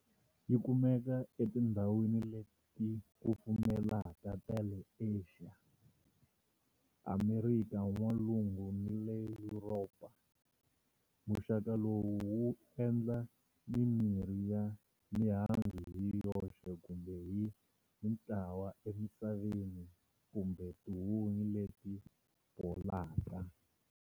Yi kumeka etindhawini leti kufumelaka ta le Asia, Amerika N'walungu ni le Yuropa. Muxaka lowu wu endla mimiri ya mihandzu hi yoxe kumbe hi mintlawa emisaveni kumbe tihunyi leti bolaka.